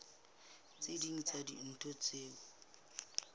tse ding tsa dintho tseo